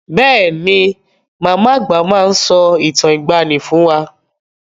Bẹ́ẹ̀ ni, màmá àgbà máa ń sọ ìtàn ìgbàani fún wá.